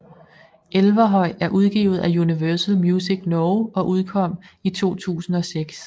Elverhøy er udgivet af Universal Music Norge og udkom i 2006